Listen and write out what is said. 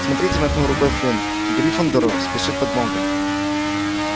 смотрите махнул рукой флинт к гриффиндору спешит подмога